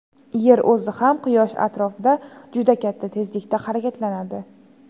Yer o‘zi ham Quyosh atrofida juda katta tezlikda harakatlanadi.